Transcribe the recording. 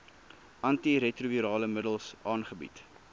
antiretrovirale middels aangebied